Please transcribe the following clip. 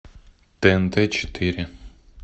тнт четыре